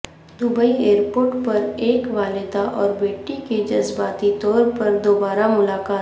Dubai airport پر ایک والدہ اور بیٹی کی جذباتی طور پر دوبارہ ملاقات